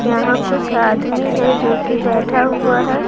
यहां कुछ आदमी है जो कि बैठा हुआ है।